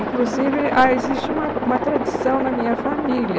Inclusive, há existe uma uma tradição na minha família.